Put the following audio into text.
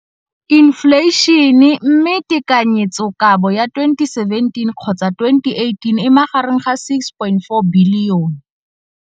Infleišene, mme tekanyetsokabo ya 2017, 18, e magareng ga R6.4 bilione.